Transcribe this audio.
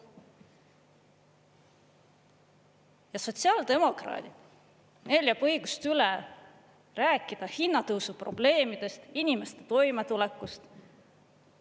Ja sotsiaaldemokraadid, neil jääb õigust üle rääkida hinnatõusu probleemidest, inimeste toimetulekust.